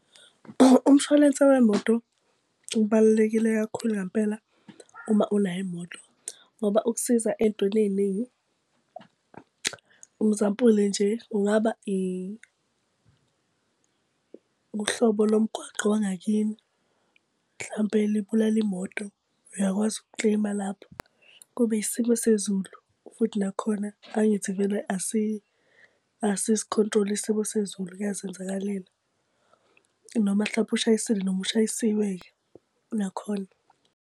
Umshwalense wemoto ubalulekile kakhulu ngampela uma unayo imoto ngoba ukusiza ey'ntweni ey'ningi. Umzampuli nje, kungaba uhlobo lomgwaqo wangakini hlampe libulale imoto, uyakwazi uku-claim-a lapho. Kube isimo sezulu, futhi nakhona angithi vele asisi-control-i isimo sezulu, kuyazenzakalela. Noma hlampe ushayisile, noma ushayisiwe-ke, nakhona.